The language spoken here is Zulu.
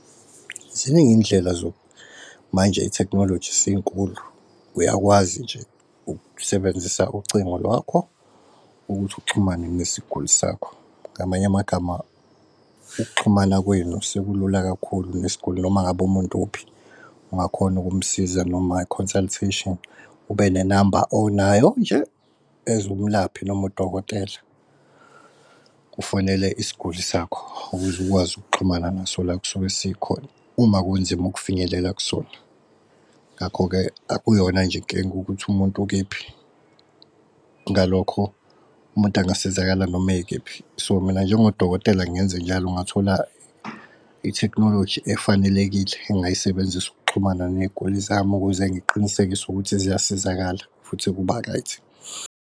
Ziningi indlela manje i-technology seyinkulu, uyakwazi nje ukusebenzisa ucingo lwakho ukuthi uxhumane nesiguli sakho ngamanye amagama ukuxhumana kwenu sekulula kakhulu nesguli noma ngabe umuntu uphi ungakhona ukumsiza noma i-consultation. Ube nenamba onayo nje as umlaphi noma udokotela ufonele isguli sakho ukuze ukwazi ukuxhumana naso la k'sisuke sikhona uma kunzima ukufinyelela kusona. Ngakho-ke akuyona nje inkinga ukuthi umuntu ukephi, ngalokho umuntu angasizakala noma ekephi. So mina njengodokotela ngenze njalo, ngathola i-technology efanelekile engayisebenzisa ukuxhumana ney'guli zami ukuze ngiqinisekise ukuthi ziyasizakala futhi, kuba-right.